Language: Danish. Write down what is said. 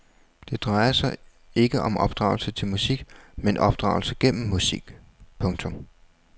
Det drejer sig ikke om opdragelse til musik men opdragelse gennem musik. punktum